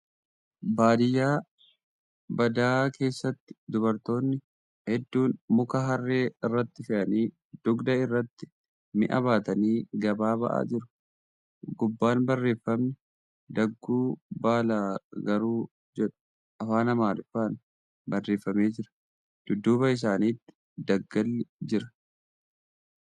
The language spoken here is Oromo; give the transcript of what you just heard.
Baadiyyaa badaa keessatti dubartoonni hedduun muka harree irratti fe'anii dugda irratti mi'a baatanii gabaa ba'aa jiru. Gubbaan barreeffamni ' Dagguu baalaagaruu ' jedhu afaan Amaariffaan barreeffamee jira. Dudduuba isaanitti daggalli jira.